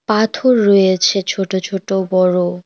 পাথর রয়েছে ছোট ছোট বড়।